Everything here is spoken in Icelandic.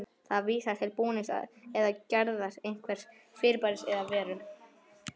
Það vísar til búnings eða gerðar einhvers fyrirbæris eða veru.